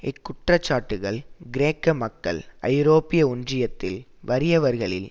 இக்குற்றச்சாட்டுக்கள் கிரேக்க மக்கள்ஐரோப்பிய ஒன்றியத்தில் வறியவர்களில்